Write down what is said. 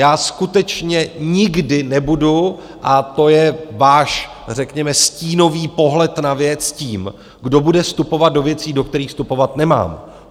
Já skutečně nikdy nebudu - a to je váš řekněme stínový pohled na věc - tím, kdo bude vstupovat do věcí, do kterých vstupovat nemá.